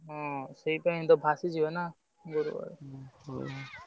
ହୁଁ ସେଇଥିପାଇଁ ତ ଭାସିଯିବେ ନା ।